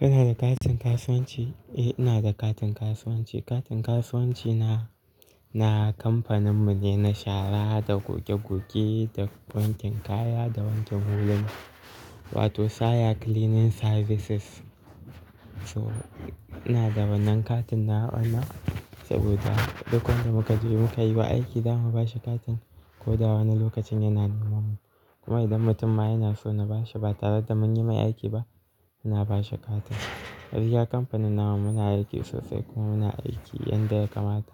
Kana da katin kasuwanci? Eh ina da katin kasuwanci. Katin kasuwanci na, na kamfaninmu ne na shara da goge goge da wankin kaya da wankin huluna, wato Saya Cleaning Services. So ina da wannan katin na wannan saboda duk wanda muka ji muka yi wa aiki za mu ba shi katin ko da wane lokacin yana neman mu. Kuma idan mutum ma yana so na ba shi ba tare da mun yi mai aiki ba, ina ba shi katin. Gaskiya kamfanin namu muna aiki sosai kuma muna aiki yadda ya kamata.